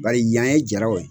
Bari yan ye jaraw ye.